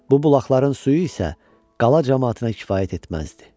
Bu bulaqların suyu isə qala camaatına kifayət etməzdi.